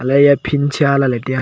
elah ley eya phinsha lai lai ley tai a.